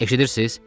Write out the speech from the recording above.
Eşidirsiz?